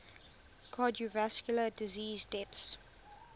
cardiovascular disease deaths